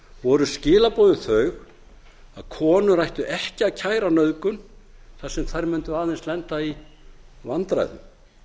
voru skilaboðin þau að konur ættu ekki að kæra nauðgun þar sem þær mundu aðeins lenda í vandræðum